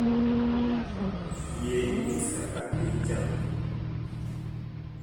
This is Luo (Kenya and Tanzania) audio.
Yie inyis kaka piny chalo